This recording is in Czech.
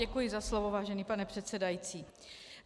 Děkuji za slovo, vážený pane předsedající.